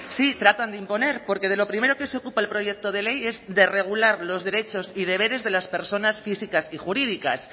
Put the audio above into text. sí tratan de imponer porque de lo primero que se ocupa el proyecto de ley es de regular los derechos y deberes de las personas físicas y jurídicas